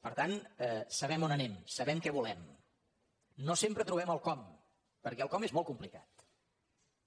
per tant sabem on anem sabem què volem no sempre trobem el com perquè el com és molt complicat